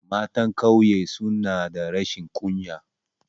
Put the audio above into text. Matan ƙauye suna da rashin kunya